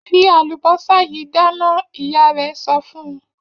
Fi àlùbọ́sà yìí dáná! Ìyá rẹ̀ sọ fún un.